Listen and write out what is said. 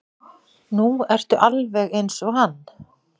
Nú ertu alveg eins og hann.